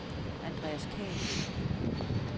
Andreas Khan